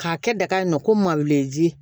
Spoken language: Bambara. K'a kɛ daga ye nɔ ko malo si